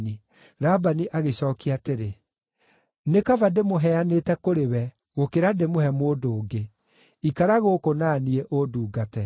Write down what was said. Labani agĩcookia atĩrĩ, “Nĩ kaba ndĩmũheanĩte kũrĩ we gũkĩra ndĩmũhe mũndũ ũngĩ. Ikara gũkũ na niĩ, ũndungate.”